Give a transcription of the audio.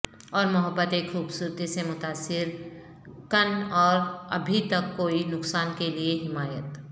اور محبت ایک خوبصورتی سے متاثر کن اور ابھی تک کوئی نقصان کے لئے حمایت